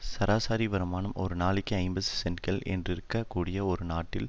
சராசரி வருமானம் ஒரு நாளைக்கு ஐம்பது சென்டுகள் என்றிருக்க கூடிய ஒரு நாட்டில்